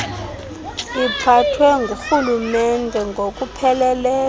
iphathwe ngurhulumente ngokupheleleyo